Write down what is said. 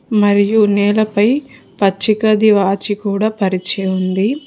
మరియు నేలపై పచ్చి గడ్డి వాచి కూడ పరిచి ఉంది.